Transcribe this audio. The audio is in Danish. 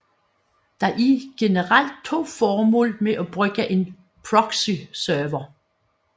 Der er generelt to formål med at bruge en proxyserver